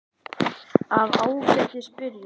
Af Ágætis byrjun